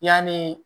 Yanni